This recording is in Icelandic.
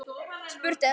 Spurt er?